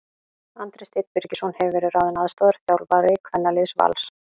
Andri Steinn Birgisson hefur verið ráðinn aðstoðarþjálfari kvennaliðs Vals.